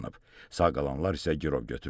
Sağ qalanlar isə girov götürülüb.